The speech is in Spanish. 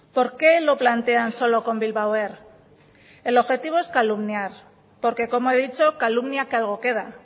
por qué lo plantean solo con bilbao air el objetivo es calumniar porque como he dicho calumnia que algo queda